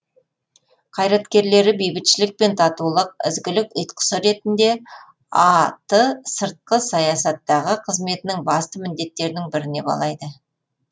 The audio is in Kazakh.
қайраткерлері бейбітшілік пен татулық ізгілік ұйытқысы ретінде а ты сыртқы саясаттағы қызметінің басты міндеттерінің біріне балайды